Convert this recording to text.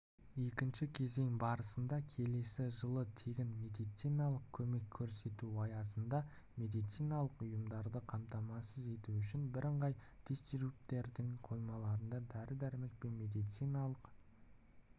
екінші кезең барысында келесі жылы тегін медициналық көмек көрсету аясында медициналық ұйымдарды қамтамасыз ету үшін бірыңғай дистрибьютордың қоймаларына дәрі-дәрмек пен медициналық